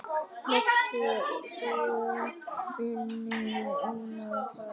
Blessuð sé minning Ólafar.